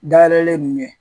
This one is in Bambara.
Dayɛlɛlen mun ye